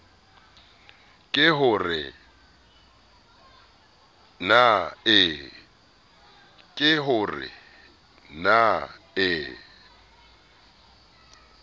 ke ho re na e